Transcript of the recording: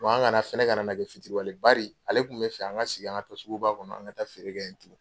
Wa an kana fɛnɛ ka na na kɛ fitiriwale yen, bari ale tun bɛ fɛ an ka segin , an ka ta suguba kɔnɔ an ka taa feere kɛ tuguni!